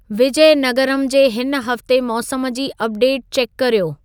विजयनगरम जे हिन हफ़्ते मौसम जी अपडेट चेकु कर्यो